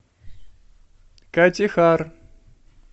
катихар